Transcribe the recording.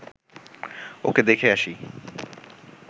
ওকে দেখে আসি